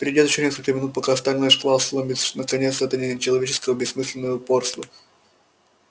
пройдёт ещё несколько минут пока стальной шквал сломит наконец это нечеловеческое бессмысленное упорство